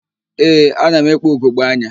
Ee, ana m ekpu ugogbeanya.